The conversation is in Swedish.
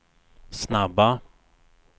snabba